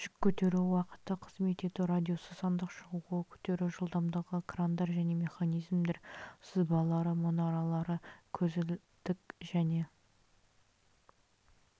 жүк көтеру уақыты қызмет ету радиусы сандық шығуы көтеру жылдымдығы крандар және механизмдер сызбалары мұнаралары көзілдік және